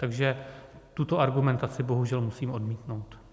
Takže tuto argumentaci bohužel musím odmítnout.